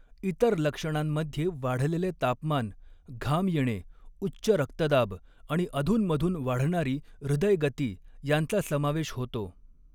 इतर लक्षणांमध्ये वाढलेले तापमान, घाम येणे, उच्च रक्तदाब आणि अधूनमधून वाढणारी हृदय गती यांचा समावेश होतो.